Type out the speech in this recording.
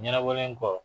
Ɲɛnabɔlen kɔ